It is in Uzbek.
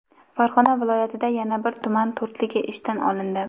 Farg‘ona viloyatida yana bir tuman "to‘rtligi" ishdan olindi.